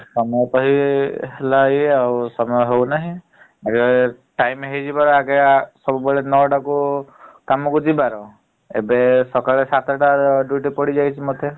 କାମ ପାଇ ହେଲା ଭଳିଆ ଆଉ ସମୟ ହେଉନାହିଁ । time ହେଇଯିବାର ଏଗା ସବୁବେଳେ ନଅଟାକୁ କାମକୁ ଯିବାର ଏବେ ସକାଳ ସାତଟା duty ପଡିଯାଇଛି ମତେ ।